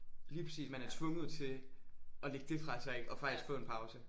Lige præcis man er tvunget til at lægge det fra sig ik og faktisk få en pause